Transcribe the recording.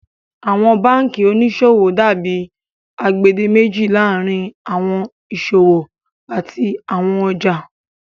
Awọn bankí oníṣọwọ dàbí agbèdémèjì laárín awọn iṣọwọ àti awọn ọjà.